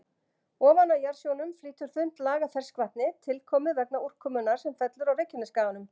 Ofan á jarðsjónum flýtur þunnt lag af ferskvatni, tilkomið vegna úrkomunnar sem fellur á Reykjanesskaganum.